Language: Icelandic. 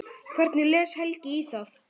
Hvernig les Helgi í það?